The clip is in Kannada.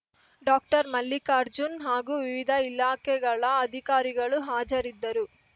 ಡಾಕ್ಟರ್ ಮಲ್ಲಿಕಾರ್ಜುನ್‌ ಹಾಗೂ ವಿವಿಧ ಇಲಾಖೆಗಳ ಅಧಿಕಾರಿಗಳು ಹಾಜರಿದ್ದರು